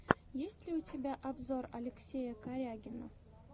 есть ли у тебя обзор алексея корягина